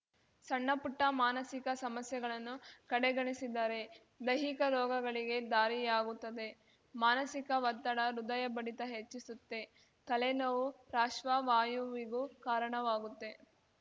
ಸಣ್ಣಪುಟ್ಟಮಾನಸಿಕ ಸಮಸ್ಯೆಗಳನ್ನು ಕಡೆಗಣಿಸಿದರೆ ದೈಹಿಕ ರೋಗಗಳಿಗೆ ದಾರಿಯಾಗುತ್ತದೆ ಮಾನಸಿಕ ಒತ್ತಡ ಹೃದಯ ಬಡಿತ ಹೆಚ್ಚಿಸುತ್ತೆ ತಲೆನೋವು ಪ್ರಾಶ್ವವಾಯುವಿಗೂ ಕಾರಣವಾಗುತ್ತೆ